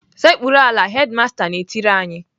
"Sekpuru ala!" Hedimasta na-etiri anyị.